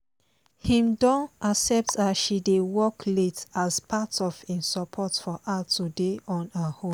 im don accept as she dey work late as part of im support for her to dey on her own